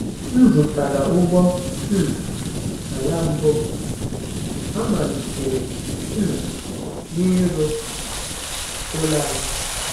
M zụtara ụgbọ um ala mbụ m, amalitere um m ịrụ ụlọ anyị.